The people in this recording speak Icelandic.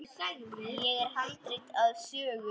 Hér er handrit að sögu.